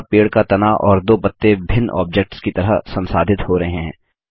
यहाँ पेड़ का तना और दो पत्ते भिन्न ऑब्जेक्ट्स की तरह संसाधित हो रहे हैं